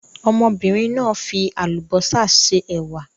Ọmọbìnrin náà fi àlùbọ́sà se ẹ̀wà.